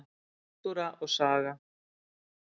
Náttúra og saga.